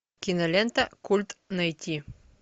кинолента культ найти